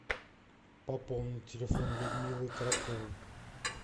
пополнить телефон людмилы коротковой